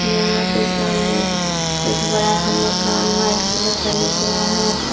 यहां पे सामने एक बड़ा सा मकान व्हाइट कलर का दिख रहा है।